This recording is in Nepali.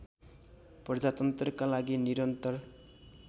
प्रजातन्त्रका लागि निरन्तर